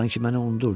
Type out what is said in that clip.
Sanki məni unudurdu.